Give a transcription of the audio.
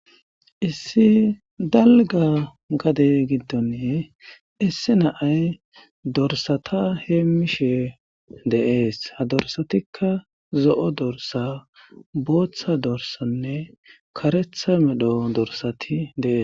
Issi dalga gade giddon issi na7ay dorssata heemmishe de7ees. Ha dossatikka zo7o dorssa, booththa dorssanne kareththa medho dorssati de7ees.